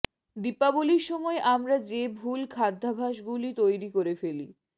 দীপাবলির সময় আমরা যে ভুল খাদ্যাভ্যাসগুলি তৈরি করে ফেলি